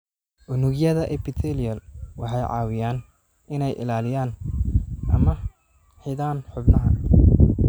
Unugyada Epithelial waxay caawiyaan inay ilaaliyaan ama xidhaan xubnaha.